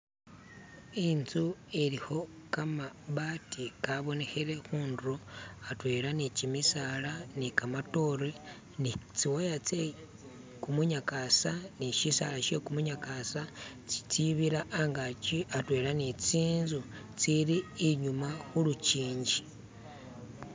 intzu ilikho kamabati kabonekhele khundulo atwela ni kimisaala ni kamatoore ni tsiwaya tsekumunyakasa ni shisaala she kumunyakasa tsistsibira angaki atwela ni tsinzu tsili inyuma khulukingi.